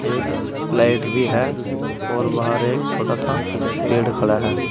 एक लाइट भी है और बाहर एक छोटा सा पेड़ खड़ा है।